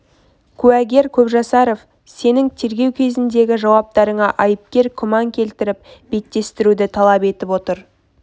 куәгер көпжасаров сенің тергеу кезіндегі жауап-тарыңа айыпкер күмән келтіріп беттестіруді талап етіп отыр